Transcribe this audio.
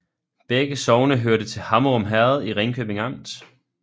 Begge sogne hørte til Hammerum Herred i Ringkøbing Amt